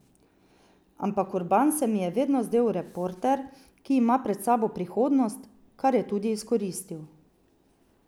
Ampak Urban se mi je vedno zdel reporter, ki ima pred sabo prihodnost, kar je tudi izkoristil.